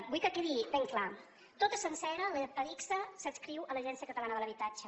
vull que quedi ben clar tota sencera adigsa s’adscriu a l’agència catalana de l’habitatge